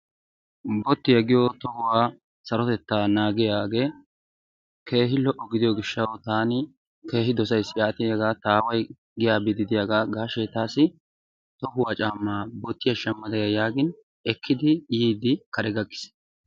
bottiyaa giyo tohuwaa sarotetta naagiyage keehi lo'o gidiyo gishshawu taani keehi dosayisi. Yaatin hegaa ta aawaay giya biiddi diyaga gaashshe taassi tohuwaa caammaa bottiya shammada ya yaagin ekkidi yiiddi kare gakkiis.